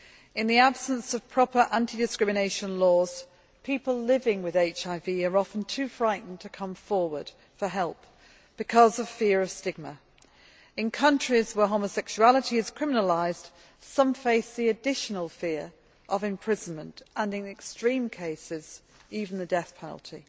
In the absence of proper anti discrimination laws, people living with HIV are often too frightened to come forward for help because of fear of stigma. In countries where homosexuality is criminalised, some face the additional fear of imprisonment and, in extreme cases, even the death penalty.